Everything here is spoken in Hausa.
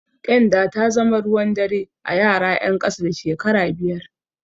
Ƙyanda ta zama ruwan dare a yara ƴan ƙasa da shekara biyar.